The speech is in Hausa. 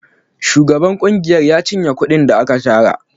Shugaban ƙungiyar ya cinye kuɗin da aka tara.